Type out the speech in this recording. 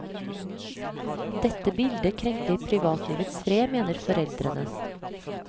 Dette bildet krenker privatlivets fred, mener foreldrene.